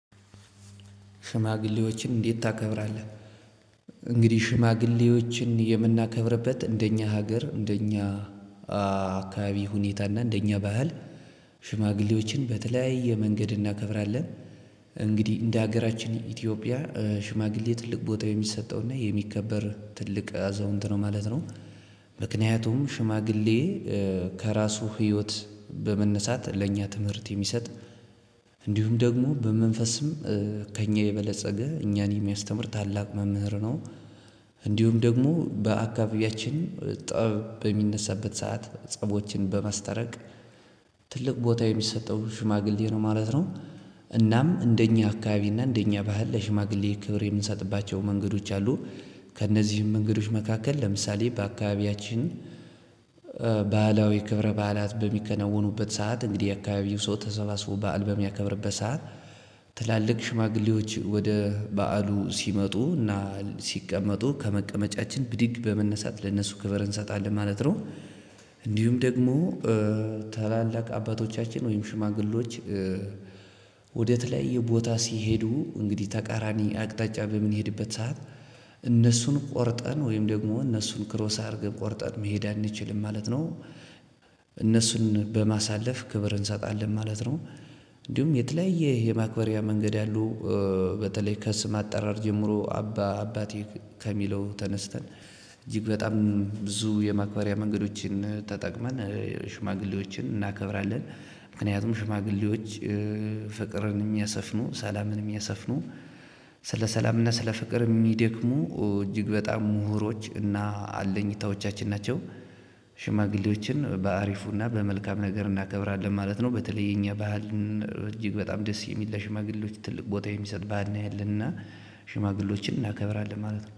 ሽማግሌዎችን እንዴት ታከብራለህ? እንግዲህ ሽማግሌዎችን የምናከብርበት እንደኛ ሀገር እንደኛ አካባቢ ሁኔታ እና እንደኛ ባህል። ሽማግሌዎችን በተለያየ መንገድ እናከብራለን እንግዲህ እንደሀገራችን ኢትዮጵያ ሽማግሌ ትልቅ ቦታ የሚሰጠው እና የሚከበር ትልቅ አዛውንት ነው ማለት ነው። ምክንያቱም ሽማግሌ ከራሱ ህይወት በመነሳት ለኛ ትምህርት የሚሰጥ እንዲሁም ደግሞ በመንፈስም ከእኛ የበለፀገ እኛን የሚያስተምር ታላቅ መምህር ነው። እንዲሁም ደግሞ በአካባቢያችን ጠብ በሚነሳበት ሰዓት ጸቦችን በማስታረቅ ትልቅ ቦታ የሚሰጠው ሽማግሌ ነው ማለት ነው። እናም እንደኛ አካባቢ እና እንደኛ ባህል ለሽማግሌ ክብር የምንሰጥባቸው መንገዶች አሉ። ከእነዚህም መንገዶች መካከል ለምሳሌ በአካባቢያችን ባህላዊ ክብረ በዓላት በሚከናውኑበት ሰዓት እንግዲህ የአካባቢው ሰው ተሰባስቦ በዓል በሚያከብርበት ሰዓት። ትላልቅ ሽማግሌዎች ወደ በዓሉ ሲመጡ እና ሲቀመጡ ከመቀመጫችን ብድግ በመነሳት ለነሱ ክበር እንሰጣለን ማለት ነው። እንዲሁም ደግሞ ታላላቅ አባቶቻችን ወይም ሽማግሌዎች። ወደ ተለያየ ቦታ ሲሄዱ እንግዲህ ተቃራኒ አቅጣጫ በምንሄድበት ሰዓት ቆርጠን ወይም ደግሞ እነሱን ክሮስ አድርገን ቆርጠን መሄድ አንችልም ማለት ነው። እነሱን በማሳለፍ ክብር እንሰጣለን ማለት ነው። እንዲሁም የተለያየ የማክበሪያ መንገድ ያሉ። በተለይ ከስም አጠራር ጀምሮ አባ አባቴ ከሚለው ተነስተን እጅግ በጣም ብዙ የማክበሪያ መንገዶችን ተጠቅመን ሽማግሌዎችን እናከብራለን። ምክንያቱም ሽማግሌዎች ፍቅርን የሚያሰፍኑ ሰላምን የሚያሰፍኑ ስለ ሰላምና ስለ ፍቅር የሚደክሙ እጅግ በጣም ምሁሮች እና አለኝታዎቻችን ናቸው። ሽማግሌዎችን በአሪፉና በመልካም ነገር እናከብራለን ማለት ነው። በተለይ የኛ ባህልን እጅግ በጣም ደስ የሚል ለሽማግሌዎች ትልቅ ቦታ የሚሰጥ ባህል ነው ያለን እና ሽማግሌዎችን እናከብራለን ማለት ነው